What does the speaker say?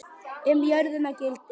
Um jörðina gildir